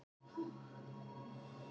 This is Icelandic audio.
Þar búa þau enn.